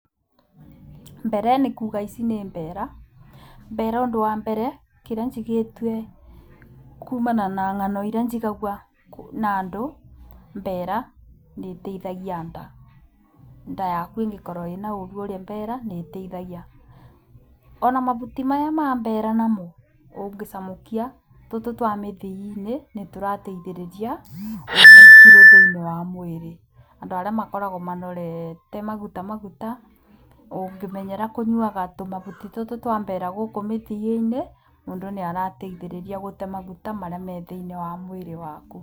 Mbere nĩ kuuga ici nĩ mbeera. Mbeera ũndũ wa mbere, kĩrĩa njiguĩte kumana na ng'ano iria njiguaga na andũ, mbeera nĩiteithagia nda. Nda yaku ĩngĩkorwo na ũũru, ũrĩe mbeera nĩiteithagia. Ona mahuti maya ma mbeera namo ũngĩcamũkia tũtũ twa mĩthia-inĩ, nĩ tũteithagĩrĩria kũruta kilo thĩinĩ wa mwĩrĩ. Andũ arĩa makoragwo manorete maguta maguta, ũngĩmenyera kũnyuaga tũmahuti tũtũ twa mbeera gũkũ mĩthia-inĩ, mũndũ nĩateithagĩrĩrio gũtee maguta marĩa marĩ thĩinĩ waku.